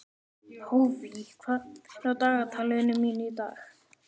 Hófí, hvað er á dagatalinu mínu í dag?